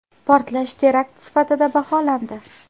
Portlash terakt sifatida baholandi .